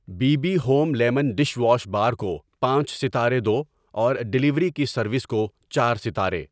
Be B home lemon dish wash bar کو پانچ ستارے دو اور ڈیلیوری کی سروس کو چار ستارے۔